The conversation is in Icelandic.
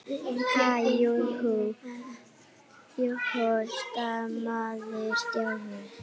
Ha- jú, jú stamaði Stjáni.